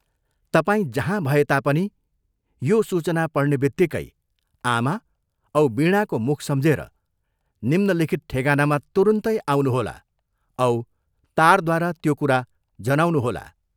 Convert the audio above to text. तपाईं जहाँ भए तापनि यो सूचना पढ्नेबित्तिकै आमा औ वीणाको मुख सम्झेर निम्नलिखित ठेगानामा तुरन्तै आउनुहोला औ तारद्वारा त्यो कुरा जनाउनुहोला।